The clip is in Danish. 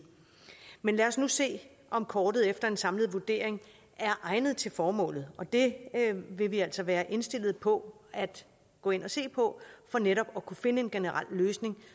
men lad os nu se om kortet efter en samlet vurdering er egnet til formålet det vil vi altså være indstillet på at gå ind og se på for netop at kunne finde en generel løsning